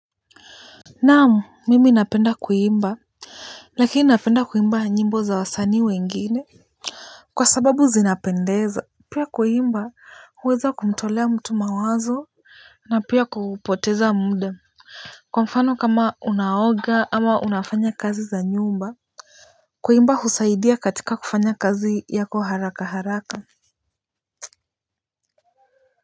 Naam, mimi napenda kuimba. Lakini napenda kuimba nyimbo za wasanii wengine. Kwa sababu zinapendeza pia kuimba huweza kumtolea mtu mawazo na pia kupoteza muda. Kwa mfano kama unaoga ama unafanya kazi za nyumba. Kuimba husaidia katika kufanya kazi yako haraka haraka.